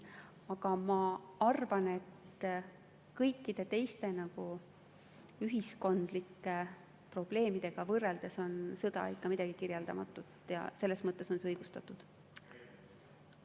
Aga ma arvan, et kõikide teiste ühiskondlike probleemidega võrreldes on sõda ikka midagi kirjeldamatut, ja selles mõttes on see õigustatud.